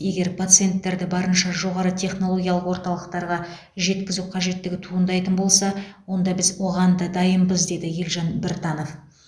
егер пациенттерді барынша жоғары технологиялық орталықтарға жеткізу қажеттігі туындайтын болса онда біз оған да дайынбыз деді елжан біртанов